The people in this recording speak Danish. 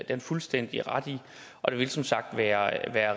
han fuldstændig ret i og det ville som sagt være